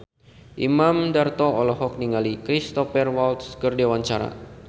Imam Darto olohok ningali Cristhoper Waltz keur diwawancara